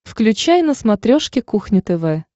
включай на смотрешке кухня тв